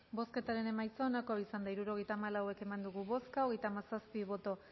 bozketaren emaitza onako izan da hirurogeita hamalau eman dugu bozka hogeita hamazazpi boto